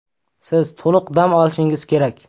Siz to‘liq dam olishingiz kerak.